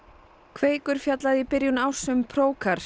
kveikur fjallaði í byrjun árs um